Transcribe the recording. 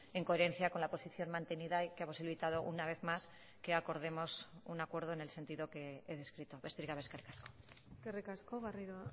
en coherencia con la posición mantenida y que ha posibilitado una vez más que acordemos un acuerdo en el sentido que he descrito besterik gabe eskerrik asko eskerrik asko garrido